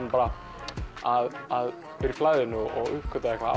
að vera í flæðinu og uppgötva eitthvað